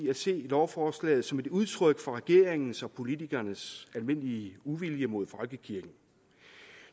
at se lovforslaget som et udtryk for regeringens og politikernes almindelige uvilje mod folkekirken